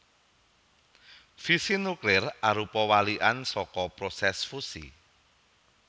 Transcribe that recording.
Fisi nuklir arupa walikan saka prosès fusi